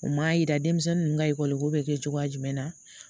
U m'a yira denmisɛnnin ninnu ka ekɔli ko bɛ kɛ cogoya jumɛn na